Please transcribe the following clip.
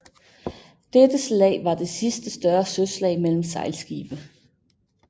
Dette slag var det sidste større søslag mellem sejlskibe